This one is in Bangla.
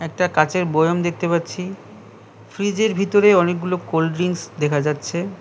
একটা কাচের বয়াম দেখতে পাচ্ছি। ফ্রিজের ভিতরে অনেকগুলো কোল্ড ড্রিঙ্কস দেখা যাচ্ছে।